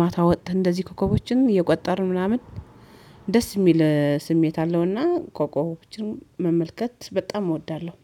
ማታ ወተን እንደዚህ ኮከቦችን እየቆጠርን ምናምን ደስ የሚል ስሜት አለውና ኮኮቦችን መመልከት በጣም እወዳለሁ